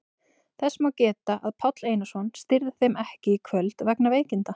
Þess má geta að Páll Einarsson stýrði þeim ekki í kvöld vegna veikinda.